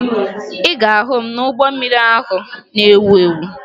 Ị ga-ahụ m n'ụgbọ mmiri ahụ na-ewu ewu